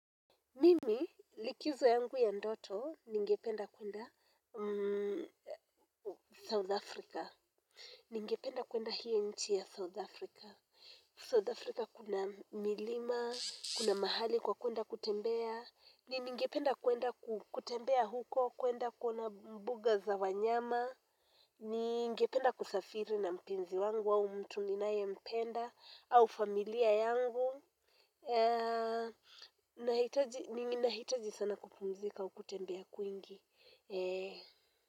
Mimi likizo yangu ya ndoto ningependa kwenda South Africa. Ningependa kwenda hiyo nchi ya South Africa. South Africa kuna milima, kuna mahali kwa kwenda kutembea. Ningependa kwenda kutembea huko, kwenda kuona mbuga za wanyama. Ningependa kusafiri na mpenzi wangu au mtu ninaempenda au familia yangu. Nahitaji sana kupumzika kutembea kwingi.